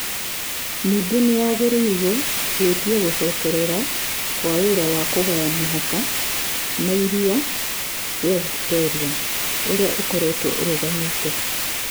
Ningĩ nĩ yagĩrĩirũo gwĩtia gũcokerera kwa wĩra wa kũgaya mĩhaka ya iria rĩa Victoria, ũrĩa ũkoretwo ũrũgamĩte.